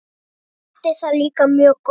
Berti það líka mjög gott.